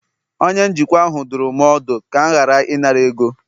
onye njikwa ahụ dụrụ m ọdụ, ka m ghara ịnara ego